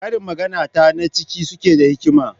Karin maganarta na cike suke da hikima.